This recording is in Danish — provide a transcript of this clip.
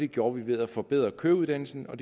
gjort ved at forbedre køreuddannelsen og